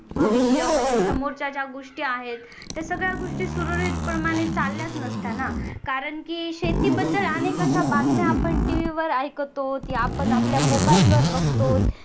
भविष्यामध्ये समोरच्या ज्या गोष्टी आहेत सुरळीत प्रमाणे चालल्याच नसत्या ना कारण की शेती बद्दल अनेक अशा बातम्या आपण TV वर ऐकतो की आपण आपल्या मोबाईल वर बघतो